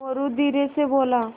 मोरू धीरे से बोला